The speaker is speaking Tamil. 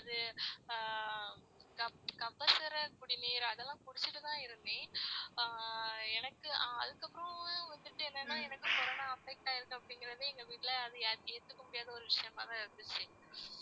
கபசுர குடிநீர் அதெல்லாம் குடிச்சிட்டு தான் இருந்தேன். ஆஹ் எனக்கு அதுக்கப்புறம் வந்துட்டு என்னனா எனக்கு corona affect ஆயிருக்கு அப்படிங்கறது எங்க வீட்டில ஏத்துக்க முடியாத ஒரு விஷயமா தான் இருந்துச்சு